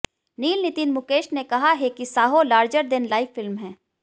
नील नितिन मुकेश ने कहा है कि Saaho larger than life film है